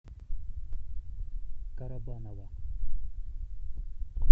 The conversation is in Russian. карабаново